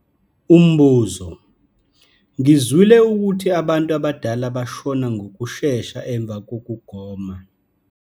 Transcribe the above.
Umbuzo- Ngizwile ukuthi abantu abadala bashona ngokushesha emva kokugoma.